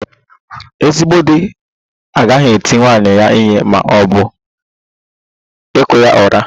Ezigbo di agaghị eti nwunye ya ihe ma ọ bụ kụọ ya ụra